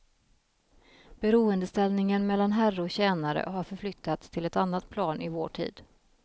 Beroendeställningen mellan herre och tjänare har förflyttats till ett annat plan i vår tid.